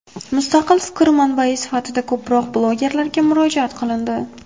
Mustaqil fikr manbai sifatida ko‘proq blogerlarga murojaat qilindi .